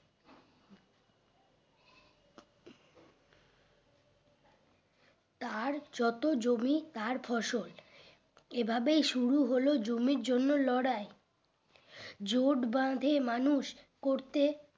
তার যত জমি তার ফসল এই ভাবাই শুরু হলো জমির জন্য লড়াই জোট বাঁধে মানুষ করতে